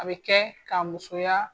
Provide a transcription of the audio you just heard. A bɛ kɛ ka musoya